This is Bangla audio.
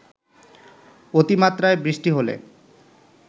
অতিমাত্রায় বৃষ্টি হলে